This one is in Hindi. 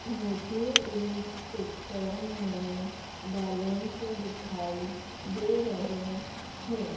मुझे इस पिक्चर में बलून्स दिखाई दे रहे है।